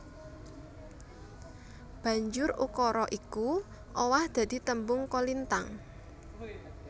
Banjur ukara iku owah dadi tembung kolintang